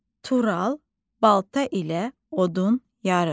Tural balta ilə odun yarır.